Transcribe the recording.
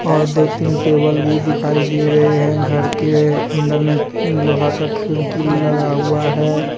और दो तीन टेबल भी दिखाई दे रहे है घर के अंदर में लोहा का खिड़की लगा हुआ है।